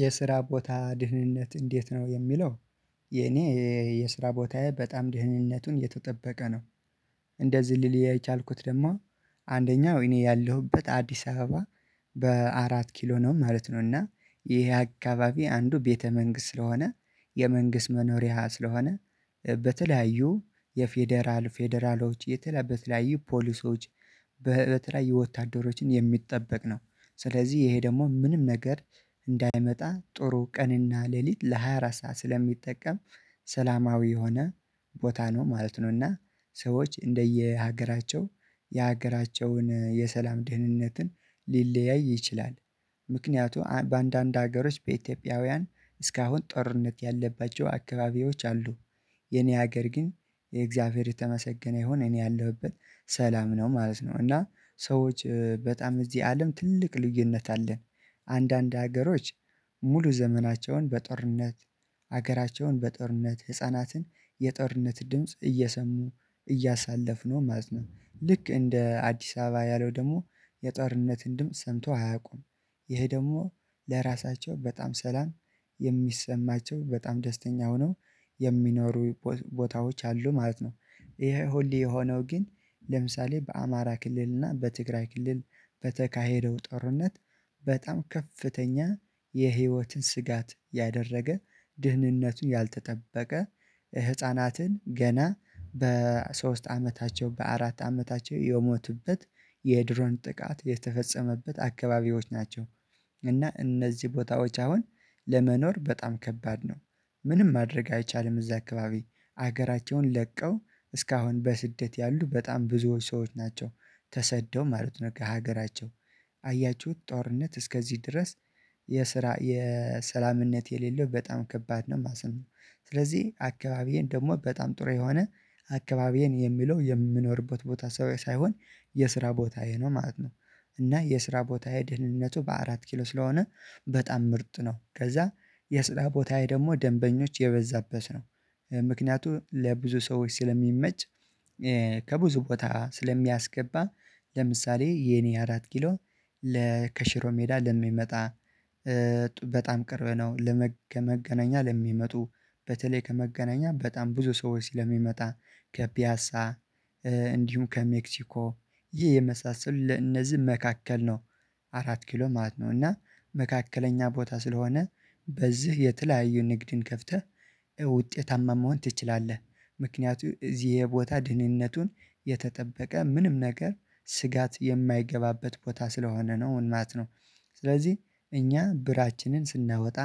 የስራ ቦታ ድህንነት እንዴት ነው የሚለው? የኔ የስራ ቦታዬ በጣም ድህንነቱን የተጠበቀ ነው። እንደዚህ ሊል የቻልኩት ደግሞ አንደኛው እኔ ያለሁበት አዲስ አበባ በአራት ኪሎ ነው ማለት ነው። እና ይሄ አካባቢ አንዱ ቤተ መንግስት ስለሆነ የመንግስት መኖሪያ ስለሆነ በተለያዩ የፌደራል ፌደራሎች የተለያዩ በተለያዩ ፖሊሶች በተለያዩ ወታደሮችም የሚጠበቅ ነው። ስለዚህ ይሄ ደግሞ ምንም ነገር እንዳይመጣ ጥሩ ቀንና ሌሊት ለሃያ አራት ሰዓት ስለሚጠቀም ሰላማዊ የሆነ ቦታ ነው ማለት ነው። እና ሰዎች እንደየሀገራቸው የሀገራቸውን የሰላም ደህንነትን ሊለያይ ይችላል። ምክንያቱም በአንዳንድ ሀገሮች በኢትዮጵያውያን እስካሁን ጦርነት ያለባቸው አካባቢዎች አሉ። የኔ ሀገር ግን እግዚአብሔር የተመሰገነ ይሁን እኔ ያለሁበት ሰላም ነው ማለት ነው። እና ሰዎች በጣም እዚህ አለም ትልቅ ልዩነት አለን። አንዳንድ ሀገሮች ሙሉ ዘመናቸውን በጦርነት ሀገራቸውን በጦርነት ህፃናትን የጦርነት ድምጽ እየሰሙ እያሳለፍነው ማለት ነው። ልክ እንደ አዲስ አበባ ያለው ደግሞ የጦርነትን ድምጽ ሰምቶ አያውቁም። ይሄ ደግሞ ለራሳቸው በጣም ሰላም የሚሰማቸው በጣም ደስተኛ ሆነው የሚኖሩ ቦታዎች አሉ ማለት ነው። ይሄ ሁሌ የሆነው ግን ለምሳሌ በአማራ ክልልና በትግራይ ክልል በተካሄደው ጦርነት በጣም ከፍተኛ የህይወት ስጋት ያደረገ ድህንነቱን ያልተጠበቀ ህፃናትን ገና በሶስት አመታቸው በአራት አመታቸው የሞቱበት የድሮን ጥቃት የተፈጸመበት አካባቢዎች ናቸው። እና እነዚህ ቦታዎች አሁን ለመኖር በጣም ከባድ ነው። ምንም ማድረግ አይቻልም እዚያ አካባቢ ሀገራቸውን ለቀው እስካሁን በስደት ያሉ በጣም ብዙዎች ሰዎች ናቸው። ተሰደው ማለት ነው ከሀገራቸው አያችሁት ጦርነት እስከዚህ ድረስ የስራ የሰላምነት የሌለው በጣም ከባድ ነው ማለት ነው። ስለዚህ አካባቢዬን ደግሞ በጣም ጥሩ የሆነ አካባቢዬን የሚለው የምኖርበት ቦታ ሳይሆን የስራ ቦታዬ ነው ማለት ነው። እና የስራ ቦታዬ ደህንነቱ በአራት ኪሎ ስለሆነ በጣም ምርጥ ነው ከዚያ የስራ ቦታዬ ደግሞ ደንበኞች የበዛበት ነው። ምክንያቱም ለብዙ ሰዎች ስለሚመች ከብዙ ቦታ ስለሚያስገባ ለምሳሌ የኔ አራት ኪሎ ለ ከሽሮ ሜዳ ለሚመጣ በጣም ቅርብ ነው። ከመገናኛ ለሚመጡ በተለይ ከመገናኛ በጣም ብዙ ሰው ስለምመጣ ከፒያሳ እንዲሁም ከሜክሲኮ ይሄ የመሳሰሉ ለእነዚህ መካከል ነው። አራት ኪሎ ማለት ነው እና መካከለኛ ቦታ ስለሆነ በዚህ የተለያዩ ንግድን ከፍተህ ውጤታማ መሆን ትችላለህ። ምክንያቱም እዚህ የቦታ ድህንነቱን የተጠበቀ ምንም ነገር ስጋት የማይገባበት ቦታ ስለሆነ ነው ማለት ነው። ስለዚህ እኛ ብራችንን ስናወጣ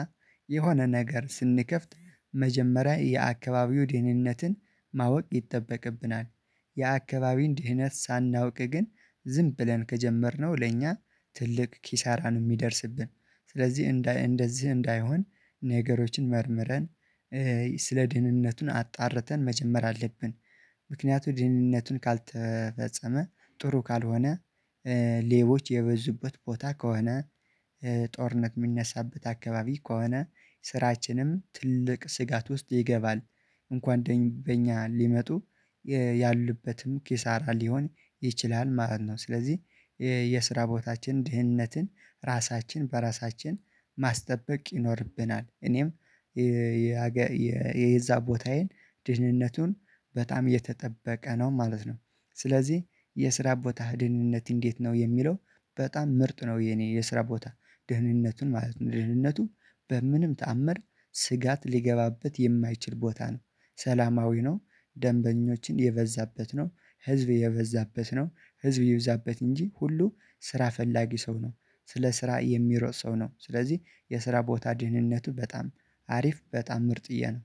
የሆነ ነገር ስንከፍት መጀመሪያ የአካባቢው ደህንነትን ማወቅ ይጠበቅብናል። የአካባቢን ደህንነት ሳናውቅ ግን ዝም ብለን ከጀመርነው ለእኛ ትልቅ ኪሳራን የሚደርስብን ስለዚህ እንደዚህ እንዳይሆን ነገሮችን መርምረን ስለ ድህንነቱን አጣርተን መጀመር አለብን። ምክንያቱም ደህንነቱን ካልተፈጸመ ጥሩ ካልሆነ ሌቦች የበዙበት ቦታ ከሆነ ጦርነት የሚነሳበት አካባቢ ከሆነ ስራችንም ትልቅ ስጋት ውስጥ ይገባል። እንኳን በእኛ ሊመጡ ኪሳራ ሊሆን ይችላል ማለት ነው። ስለዚህ የስራ ቦታችን ድህነትን ራሳችን በራሳችን ማስጠበቅ ይኖርብናል። እኔም የዚያ ቦታዬን ድህነቱን በጣም የተጠበቀ ነው ማለት ነው። ስለዚህ የስራ ቦታ ደህንነት እንዴት ነው የሚለው? በጣም ምርጥ ነው። የኔ የስራ ቦታ ደህንነቱን ማለት ነው ደህንነቱ በምንም ተአምር ስጋት ሊገባበት የማይችል ቦታ ነው ሰላማዊ ነው። ደንበኞችን የበዛበት ነው ህዝብ የበዛበት ነው ህዝብ ይብዛበት እንጂ ሁሉ ስራ ፈላጊ ሰው ነው። ስለ ስራ የሚሮጥ ሰው ነው ስለዚህ የስራ ቦታ ደህንነቱ በጣም አሪፍ በጣም ምርጥዬ ነው።